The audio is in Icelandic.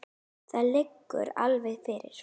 Það liggur alveg fyrir.